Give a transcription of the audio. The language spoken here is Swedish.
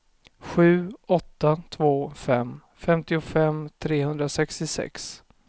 sju åtta två fem femtiofem trehundrasextiosex